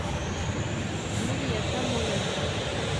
юлия самойленко